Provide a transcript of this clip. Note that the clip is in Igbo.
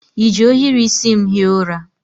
I ji ohiri isi m hie ụra?